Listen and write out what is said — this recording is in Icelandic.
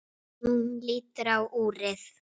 Hún lítur á úrið.